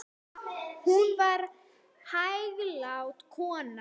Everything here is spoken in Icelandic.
Hún var hæglát kona.